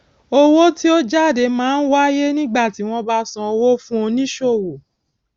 owó tí ó jáde máa ń wáyé nígbà tí wón bá san owó fún oníṣòwò